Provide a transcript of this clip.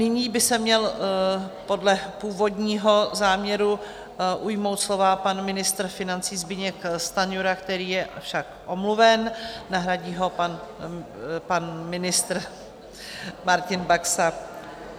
Nyní by se měl podle původního záměru ujmout slova pan ministr financí Zbyněk Stanjura, který je však omluven, nahradí ho pan ministr Martin Baxa.